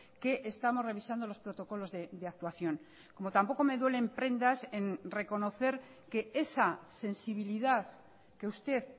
que estamos revisando los protocolos de actuación como tampoco me duele en prendas en reconocer que esa sensibilidad que usted